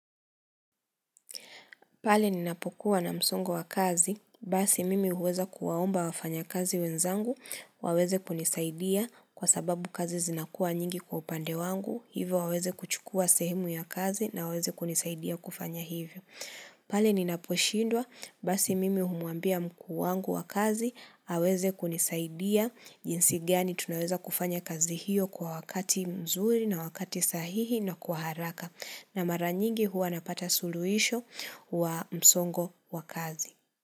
Pale ninapokuwa na msongo wa kazi, basi mimi huweza kuwaomba wafanya kazi wenzangu, waweze kunisaidia kwa sababu kazi zinakua nyingi kwa upande wangu, hivo waweze kuchukua sehemu ya kazi na waweze kunisaidia kufanya hivyo. Pale ninaposhindwa, basi mimi humambia mkuu wangu wa kazi, aweze kunisaidia, jinsi gani tunaweza kufanya kazi hiyo kwa wakati mzuri na wakati sahihi na kwa haraka. Na mara nyingi huwa napata sululuhisho wa msongo wa kazi.